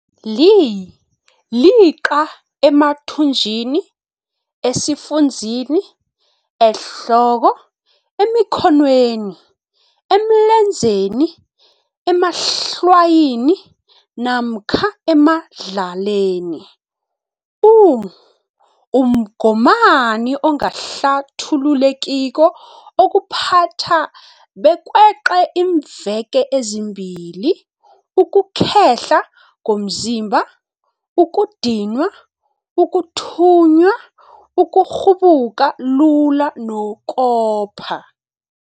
Li-liqa emathunjini, esifunzini, ehloko, emi khonweni, emlenzeni, emahlwayini, namkha emadlaleni. U-Umgomani ongahlathulukekiko okuphatha bekweqe iimveke ezimbili, ukukhehla komzimba, ukudinwa, ukuthunya, ukukghubuka lula nokopha.